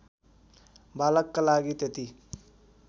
बालकका लागि त्यति